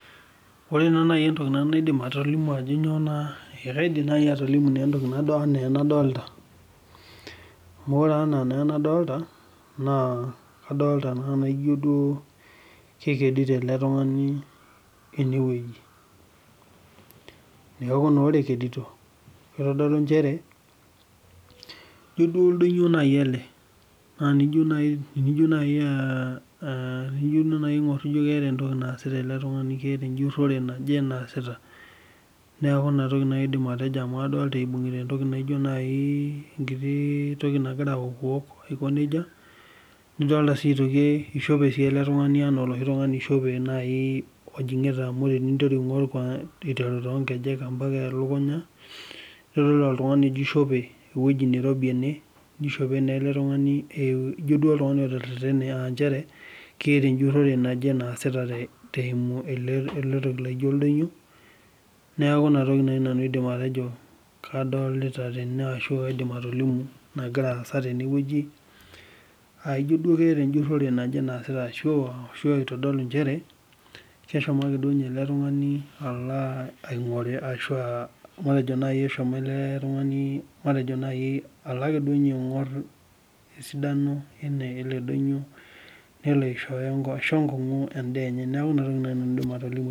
Ore naa naji entoki nadolita kadolita ena kekdito ele tung'ani enewueji na ore ekedito naa ejio oldonyio ele naa tenijo aing'or naa keeta ejuree naaje naasita ele tung'ani amu kadolita eibungita enkiti toki nagira awokiwok nidolita Ajo eshopee sii ele tung'ani Ajo eshopo tening'or aiteru nkejek mbaka elukunya enaa ewueji nairobii ene nishope naa ele tung'ani ejio keeta ejurore naasita eyimu ele toki laijio oldonyio neeku naa toki naaji Ajo kadolita tene ashu aidim atolimu naagira asaa tenewueji aijio ketaa ejuroree naaje naasita ashu eitodolu njere kehomo ake duo ele tung'ani alo ake duo ninye aing'or esidano ele donyio nelo aishoo enkongu endaa enye neeku ena toki najii nanu aidim atolimu